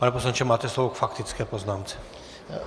Pane poslanče, máte slovo k faktické poznámce.